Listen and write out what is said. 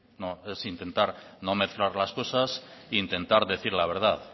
no es intentar no mezclar las cosas e intentar decir la verdad